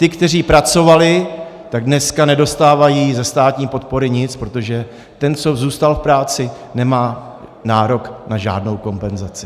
Ti, kteří pracovali, tak dneska nedostávají ze státní podpory nic, protože ten, co zůstal v práci, nemá nárok na žádnou kompenzaci.